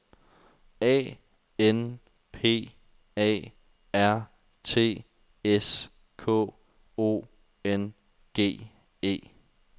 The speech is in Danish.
A N P A R T S K O N G E